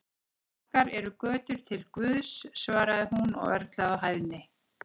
Margar eru götur til Guðs, svaraði hún og örlaði á hæðni.